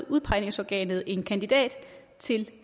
udpegningsorganet en kandidat til